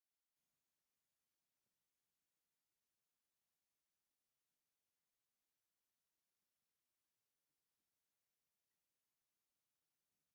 እዚ ተክሊ እዚ ፓፓዮ እንትከውን እዚ ፓፓዮ ድማ ንወዲ ሰብ ንምግብነት ዝውዕል እዩ። እዚ ፓፓዮ እዚ ድማ ብበዝሒ ክንምገብ ኣለና ።